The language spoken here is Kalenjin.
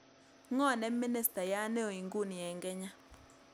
Ng'o ne ministayat neo inguni eng' kenya